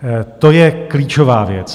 To je klíčová věc.